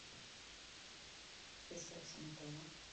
ресепшн отеля